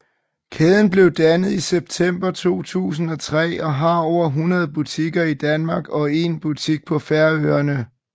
Kæden blev dannet i september 2003 og har over 100 butikker i Danmark og 1 butik på Færøerne